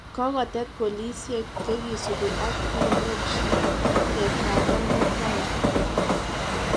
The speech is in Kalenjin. Kokotet polisiek che kisubi ak imuuch kestakan mutai "kites.